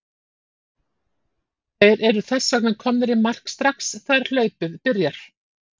Þeir eru þess vegna komnir í mark strax þegar hlaupið byrjar!